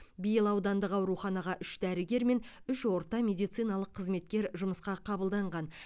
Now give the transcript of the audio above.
биыл аудандық ауруханаға үш дәрігер мен үш орта медициналық қызметкер жұмысқа қабылданған